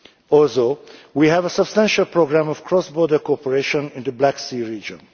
Also, we have a substantial programme of cross border cooperation in the Black Sea region.